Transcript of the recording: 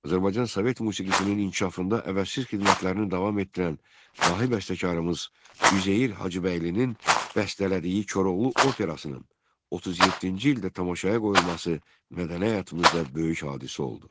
Azərbaycan sovet musiqisinin inkişafında əvəzsiz xidmətlərini davam etdirən dahi bəstəkarımız Üzeyir Hacıbəylinin bəstələdiyi Koroğlu operasının 37-ci ildə tamaşaya qoyulması mədəni həyatımızda böyük hadisə oldu.